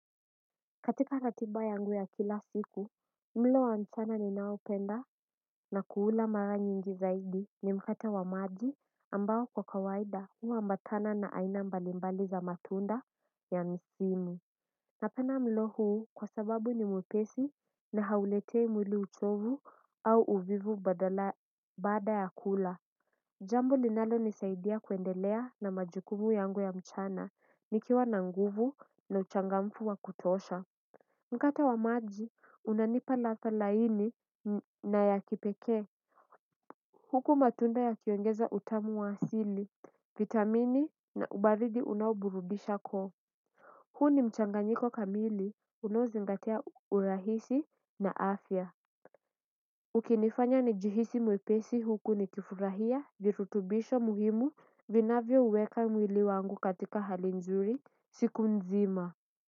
Katika ratiba yangu ya kila siku, mlo wa mchana ninaupenda na kuula mara nyingi zaidi ni mkate wa maji ambao kwa kawaida ua mbatana na aina mbalimbali za matunda ya msimu. Na penda mlo huu kwa sababu ni mpesi na hauletei mwili uchovu au uvivu baada ya kula. Jambo ninalo nisaidia kuendelea na majukumu yangu ya mchana nikiwa na nguvu na uchangamfu wa kutosha. Mkate wa maji, unanipa ladha laini na ya kipekee. Huku matunda yakiongeza utamu wa asili, vitamini na ubaridi unaoburubisha koo. Huu mchanganyiko kamili, unaozingatia urahisi na afya. Ukinifanya nijihisi mwepesi huku ni kifurahia, virutubisho muhimu, vinavyo uweka mwili wangu katika hali nzuri, siku nzima.